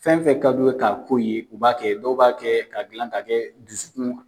Fɛn fɛn k'a du ye ka ko ye, u b'a kɛ, dɔw b'a kɛ, ka gilan ka kɛ dusu kun